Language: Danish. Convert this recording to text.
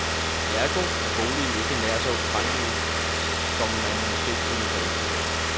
Ergo er boligen ikke nær så ukrænkelig, som man måske kunne få indtryk af.